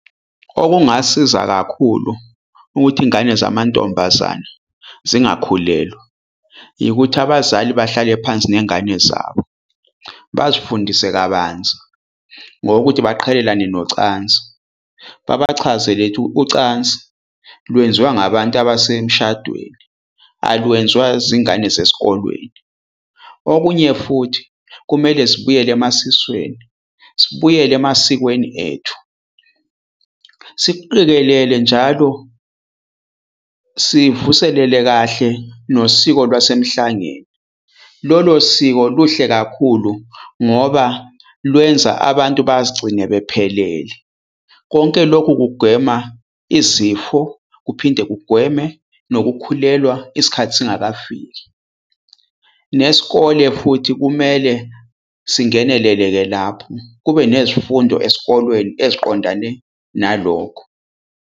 Okungasiza kakhulu ukuthi ingane zamantombazane zingakhulelwa, yikuthi abazali bahlale phansi nengane zabo bazifundise kabanzi ngokuthi baqhelelane nocansi, babachazele ukuthi ucansi lwenziwa ngabantu abasemshadweni alwenziwa zingane ezisesikolweni. Okunye futhi, kumele zibuyele emasisweni sibuyele emasikweni ethu, sikuqikelele njalo, sivuselele kahle nosiko lwasemhlangeni. Lolo siko luhle kakhulu ngoba lwenza abantu bazigcine bephelele. Konke lokhu kugwema izifo kuphinde kugweme nokukhulelwa isikhathi singakafiki. Nesikole futhi kumele singenele-ke lapho kube nezifundo esikolweni eziqondane nalokho.